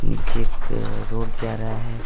नीचे एक रोड जा रहा है।